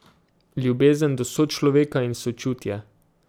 Ljubezen do sočloveka in sočutje.